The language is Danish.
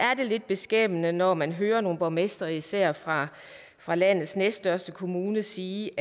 lidt beskæmmende når man hører nogle borgmestre især fra fra landets næststørste kommune sige